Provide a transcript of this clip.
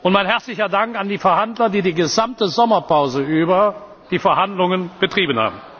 Mein herzlicher Dank an die Verhandler, die die gesamte Sommerpause über die Verhandlungen betrieben